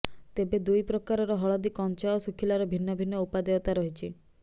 ତେବେ ଦୁଇ ପ୍ରକାରର ହଳଦୀ କଞ୍ଚା ଓ ଶୁଖିଲାର ଭିନ୍ନ ଭିନ୍ନ ଉପାଦେୟତା ରହିଛି